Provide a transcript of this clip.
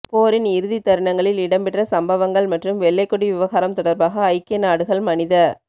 போரின் இறுதி தருணங்களில் இடம்பெற்ற சம்பவங்கள் மற்றும் வெள்ளைக்கொடி விவகாரம் தொடர்பாக ஐக்கிய நாடுகள் மனித